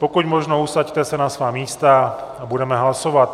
Pokud možno se usaďte na svá místa a budeme hlasovat.